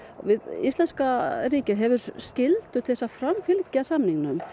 íslenska ríkið hefur skyldu til að framfylgja samningnum